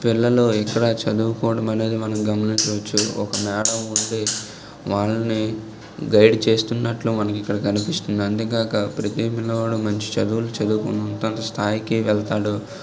పిల్లలు అనేది ఇక్కడ చదువుకోవడం అనేది మనం గమనించవచ్చు ఒక మేడమ్ వుండి వాళ్లని గైడ్ చేస్తున్నట్లు మనకు ఇక్కడ కనిపిస్తుంది. అంతేకాక ప్రతి పిల్లవాడు మంచి చదువులు చదువుకొని తన స్థాయికి వెళ్తాడు.